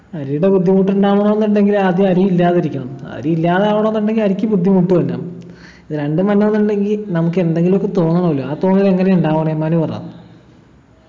അരിയുടെ ബുദ്ധിമുട്ടുണ്ടാകണോന്നുണ്ടെങ്കിൽ ആദ്യം അരിയില്ലാതിരിക്കണം അരിയില്ലാതാവണോന്നുണ്ടെങ്കിൽ അരിക്ക് ബുദ്ധിമുട്ടു ഇല്ല രണ്ടും വരണോന്നുണ്ടെങ്കി നമുക്കെന്തെങ്കിലൊക്കെ തോന്നണല്ലോ ആ തോന്നാലെങ്ങനെയാ ഉണ്ടാവണേ മനു പറ